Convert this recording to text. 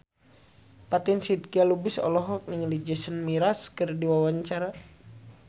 Fatin Shidqia Lubis olohok ningali Jason Mraz keur diwawancara